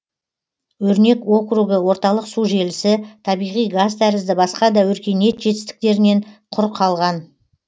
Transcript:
өрнек округі орталық су желісі табиғи газ тәрізді басқа да өркениет жетістіктерінен құр қалған